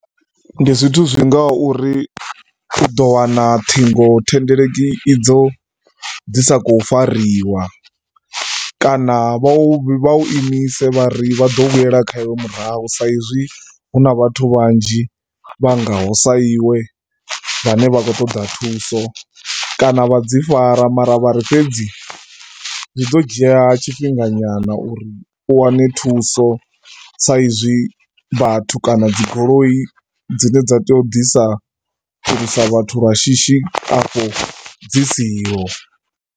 Ndi zwithu zwi ngaho uri u ḓo wana ṱhingothendeleki idzo dzi sa khou fariwa kana vha u imise vha ri vha ḓo vhuyela kha iwe murahu saizwi hu na vhathu vhanzhi vha ngaho sa iwe vhane vha khou ṱoḓa thuso. Kana vha dzi fara mara vha ri fhedzi zwi ḓo dzhia tshifhinga nyana uri u wane thuso saizwi vhathu kana dzi goloi dzine dza tea u ḓisa vhathu lwa shishi afho dzi siho.